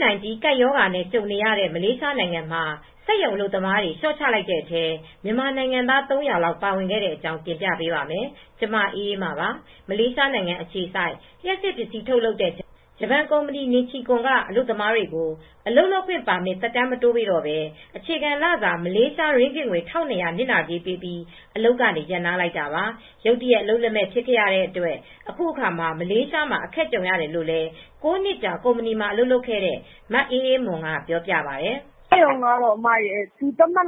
-19 ကပ်ရောဂါနဲ့ ကြုံနေရတဲ့ မလေးရှားနိုင်ငံမှာ စက်ရုံအလုပ်သမားတွေ လျှော့ချလိုက်တဲ့အထဲ မြန်မာနိုင်ငံသား ၃၀၀ လောက် ပါဝင်ခဲ့တဲ့အကြောင်း တင်ပြပေးပါမယ်။ ဗွီအိုအေမြန်မာပိုင်းသတင်းထောက် မအေးအေးမာက သတင်းပေးပို့ထားပါတယ်။ မလေးရှားအခြေစိုက် ဂျပန်လျှပ်စစ်ပစ္စည်း ထုတ်လုပ်တဲ့ Nichicon ကုမ္ပဏီက အလုပ်သမားတွေကို ပါမစ်သက်တမ်း မတိုးပေးတော့ဘဲ အခြခံလစာ မလေးရှားရင်းဂစ်ငွေ ၁,၂၀၀ နစ်နာကြေးပေးပြီး အလုပ်ကနေ ရပ်နားလိုက်တာပါ။ ရုတ်တရက် အလုပ်လက်မဲ့ ဖြစ်ခဲ့တဲ့အတွက် အခုအခါ မလေးရှားမှာ အခက်ကြုံနေရတယ်လို့လည်း ၉ နှစ်ကြာ ကုမ္ပဏီမှာ အလုပ်လုပ်ခဲ့တဲ့ မအေးအေးမိုးက ပြောပါတယ်။ "စက်ရုံကတော့ သတ်မှတ်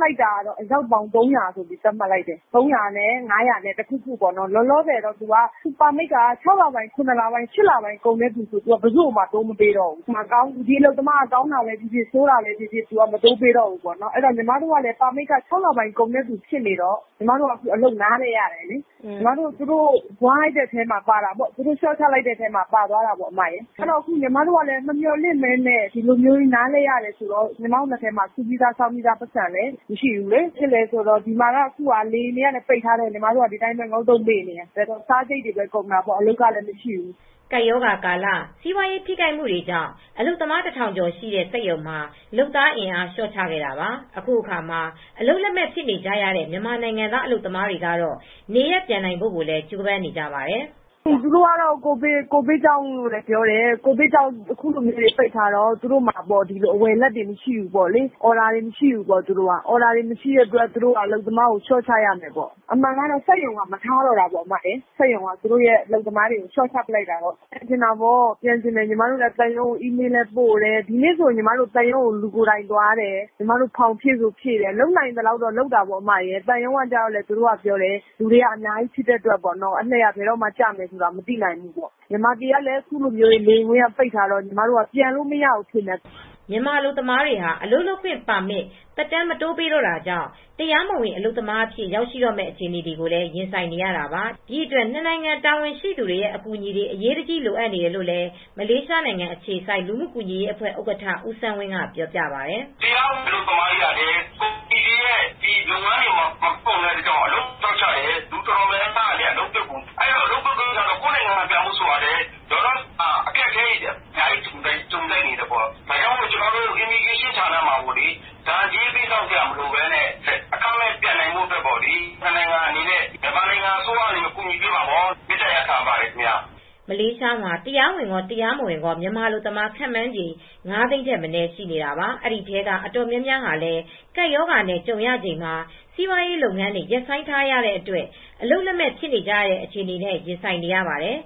လိုက်တာ အယောက်ပေါင်း ၃၀၀ လောက်ထိ သတ်မှတ်တယ် ၃၀၀ ကနေ ၅၀၀ လောက်ထိ သတ်မှတ်လိုက်တယ်။ လောလောဆယ် ပါမစ်က ၆ လပိုင်း၊ ၇ လပိုင်း၊ ၈ လပိုင်း ပါမစ်ကုန်တဲ့သူအားလုံးကို ဘယ်သူကိုမှ ပါမစ်လုံး၀ မတိုးပေးတော့ဘူး။ ဒီအလုပ်သမားကောင်းတာပဲဖြစ်ဖြစ်၊ ဆိုးတာပဲဖြစ်ဖြစ် မတိုးပေးတော့ဘူး။ ညီမတို့က ပါမစ်က ၆ လပိုင်းကုန်အထိတော့ ညီမတို့က လျှော့ချခံလိုက်ရတယ်၊ နားလိုက်ရတယ်။ သူတို့ လျှော့ချထဲအထဲပါသွားတယ်။ မမျှော်လင့်ဘဲ နားလိုက်ရတော့ စုဆောင်းပြီးသား ပိုက်ဆံလည်း စုထားတာ မရှိဘူး။ လေယာဉ်တွေကလည်း နားထားတော့ ညီမတို့က ငုတ်တုတ်ဖြစ်နေရတယ်။ စားစရိတ်လည်း ကုန်တာပေါ့။ အလုပ်အကိုင်ကလည်း မရှိဘူး။" ကပ်ရောဂါကာလ စီးပွားရေး ထိခိုက်မှုတွေကြောင့် အလုပ်သမား ၁,၀၀၀ ကျော်ရှိတဲ့ စက်ရုံမှာ လုပ်သားအင်အား လျှော့ချခဲ့တာပါ။ အခုအခါ အလုပ်လက်မဲ့ ဖြစ်နေကြရတဲ့ မြန်မာနိုင်ငံသား အလုပ်သမားတွေကတော့ နေရပ်ပြန်နိုင်ဖို့လည်း ကြိုးပမ်းနေကြပါတယ်။ "သူတို့ကတော့ ကိုဗစ်ကြောင့်လို့ ပြောတယ်။ သူတို့က ဝယ်လက် မရှိတော့ဘူး၊ အော်ဒါတွေ မရှိတော့လို့ အလုပ်သမားတွေကို လျှော့ချရမယ်ပြောတယ်။ အမှန်တော့ စက်ရုံက မထားတော့တာ စက်ရုံက လျှော့ချလိုက်တာ ညီမတို့လည်းပြန်ချင်တယ်။ သံရုံးကို အီးမေးလ်လည်းပို့တယ်။ ဒီနေ့ဆို သံရုံးကို လူကိုယ်တိုင်သွားတယ်။ ဖောင်ဖြည့်ဆိုဖြည့်တယ်။ လုပ်နိုင်သလောက်လုပ်တယ်။ သံရုံးကလည်းပြောတယ်... လူတွေက အများကြီးဖြစ်နေတော့ အလှည့်က ဘယ်တော့ကျမလဲ မသိနိုင်ဘူး။ မြန်မာပြည်က လေယာဉ်တွေကလည်း ပိတ်ထားတော့ ပြန်လို့မရဘူး ဖြစ်နေတာ။" မြန်မာအလုပ်သမားတွေဟာ အလုပ်လုပ်ခွင့် ပါမစ်သက်တမ်းမတိုးပေးတော့တာကြောင့် အခုဆိုရင် တရားမဝင် အလုပ်သမားအဖြစ်ကို ရောက်ရှိတော့မယ့် အခြေအနေဖြစ်လာပါတယ်။ ဒီအတွက် ၂ နိုင်ငံ တာဝန်ရှိသူတွေရဲ့ အကူအညီတွေ အရေးတကြီး လိုအပ်နေတယ်လို့လည်း မလေးရှားနိုင်ငံ အခြေစိုက် လူမှုကူညီရေးအဖွဲ့ ဥက္ကဋ္ဌ ဦးစန်းဝင်းက ပြောပါတယ်။ "အလုပ်သမားတွေက ကုမ္ပဏီတွေက လျှော့ချတော့ လူအတော်များများ အလုပ်ပြုတ်ကုန်တယ်။ ဒီတော့ လဝက ဌာနကနေ ဒဏ်ကြေးပေးစရာမလိုဘဲ နှစ်နိုင်ငံအနေနဲ့ မြန်မာအစိုးရအနေနဲ့ တာဝန်ယူဖြေရှင်ပေးဖို့ မေတ္တာရပ်ခံလိုက်ပါတယ်။" မလေးရှားမှာ တရားဝင်ရော၊ တရားမဝင်ရော မြန်မာအလုပ်သမား ခန့်မှန်းခြေ ၅၀၀,၀၀၀ ထက်မနည်း ရှိနေတာပါ။ ဒီအထဲက တော်တော်များများဟာလည်း ကပ်ရောဂါနဲ့ ကြုံရချိန်မှာ စီးပွားရေးလုပ်ငန်းတွေ ရပ်ဆိုင်းထားရတဲ့အတွက် အလုပ်လက်မဲ့ ဖြစ်ကြရတဲ့ အခြေအနေတွေနဲ့ ရင်ဆိုင်နေကြရပါတယ်